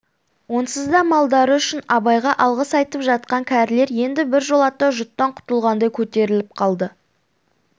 онсыз да малдары үшін абайға алғыс айтып жатқан кәрілер енді біржолата жұттан құтылғандай көтеріліп қалды